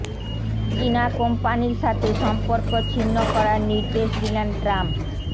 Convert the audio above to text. চীনা কোম্পানির সাথে সম্পর্ক ছিন্ন করার নির্দেশ দিলেন ট্রাম্প